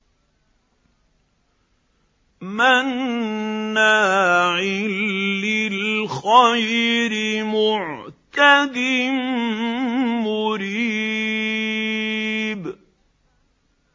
مَّنَّاعٍ لِّلْخَيْرِ مُعْتَدٍ مُّرِيبٍ